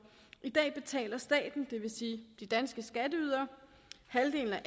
i dag betaler staten det vil sige de danske skatteydere halvdelen af